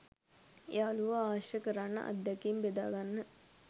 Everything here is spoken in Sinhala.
යාළුවෝ ආශ්‍රය කරන්න අත්දැකීම් බෙදාගන්න